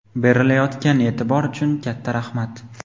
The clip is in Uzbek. berilayotgan eʼtibor uchun katta rahmat!.